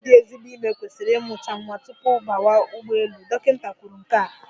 Nwaanyị dị ezigbo ime kwesịrị ịmụcha nwa tupu bawa ụgbọelu, dọkịịta kwuru nke a.